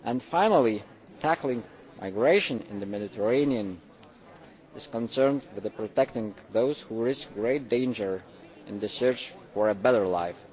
Finally, tackling migration in the Mediterranean is concerned with protecting those who risk great danger in the search for a better life.